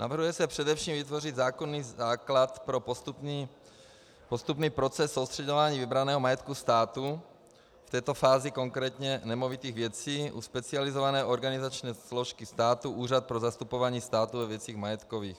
Navrhuje se především vytvořit zákonný základ pro postupný proces soustřeďování vybraného majetku státu, v této fázi konkrétně nemovitých věcí, u specializované organizační složky státu Úřad pro zastupování státu ve věcech majetkových.